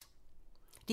DR2